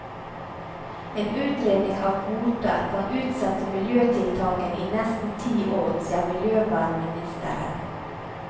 En utredning av kvoter kan utsette miljøtiltakene i nesten ti år, sier miljøvernministeren.